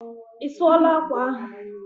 Isuola akwa ahụ?